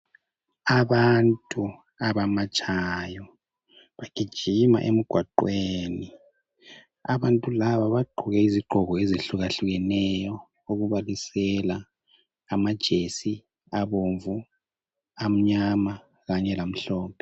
Abantu abamatshayo, bagijima emgwaqweni. Abantu laba bagqoke izigqoko ezehlukeneyo okubalisela amajesi abomvu , amnyama Kanye lamhlophe.